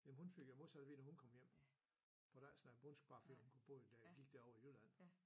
Jamen hun fik jo modsat at vide da hun kom hjem. Du behøver da ikke snakke bondsk bare fordi hun boede dér gik derovre i Jylland